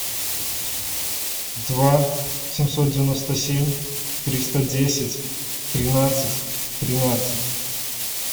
два семьсот девяносто семь триста десять тринадцать тринадцать